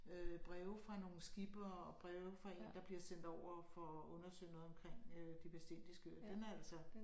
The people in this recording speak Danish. Øh breve fra nogle skippere og breve fra én der bliver sendt over for at undersøge noget omkring øh De Vestindiske Øer den er altså